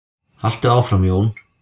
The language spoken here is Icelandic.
Haltu áfram Jón!